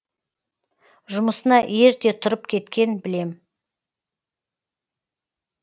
жұмысына ерте тұрып кеткен білем